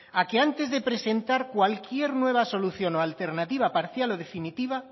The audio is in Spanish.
a que antes de presentar cualquier nueva solución o alternativa parcial o definitiva